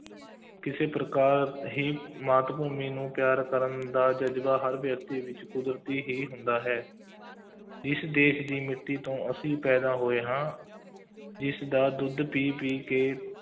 ਕਿਸੇ ਪ੍ਰਕਾਰ ਦੀ ਮਾਤ ਭੂਮੀ ਨੂੰ ਪਿਆਰ ਕਰਨ ਦਾ ਜ਼ਜ਼ਬਾ ਹਰ ਵਿਅਕਤੀ ਵਿੱਚ ਕੁਦਰਤੀ ਹੀ ਹੁੰਦਾ ਹੈ ਇਸ ਦੇਸ਼ ਦੀ ਮਿੱਟੀ ਤੋਂ ਅਸੀਂ ਪੈਦਾ ਹੋਏ ਹਾਂ, ਇਸਦਾ ਦੁੱਧ ਪੀ ਪੀ ਕੇ,